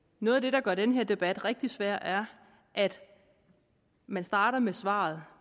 noget af det der gør den her debat rigtig svær er at man starter med svaret